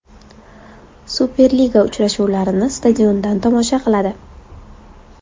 Superliga uchrashuvlarini stadiondan tomosha qiladi.